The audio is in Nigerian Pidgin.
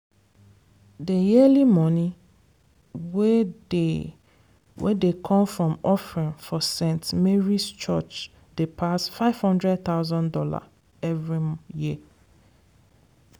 dey yearly money wey dey wey dey come from offering for st. mary's church dey pass five hundred thousand dollar every year.